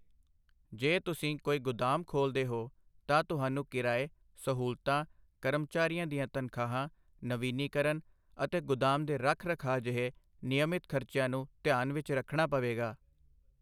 ਜੇ ਤੁਸੀਂ ਕੋਈ ਗੁਦਾਮ ਖੋਲ੍ਹਦੇ ਹੋ, ਤਾਂ ਤੁਹਾਨੂੰ ਕਿਰਾਏ, ਸਹੂਲਤਾਂ, ਕਰਮਚਾਰੀਆਂ ਦੀਆਂ ਤਨਖਾਹਾਂ, ਨਵੀਨੀਕਰਨ ਅਤੇ ਗੁਦਾਮ ਦੇ ਰੱਖ ਰਖਾਅ ਜਿਹੇ ਨਿਯਮਤ ਖਰਚਿਆਂ ਨੂੰ ਧਿਆਨ ਵਿੱਚ ਰੱਖਣਾ ਪਵੇਗਾ।